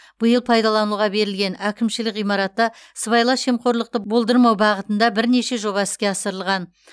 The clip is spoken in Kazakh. биыл пайдалануға берілген әкімшілік ғимаратта сыбайлас жемқорлықты болдырмау бағытында бірнеше жоба іске асырылған